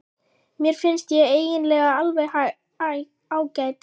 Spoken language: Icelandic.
Mér finnst ég eiginlega alveg ágæt.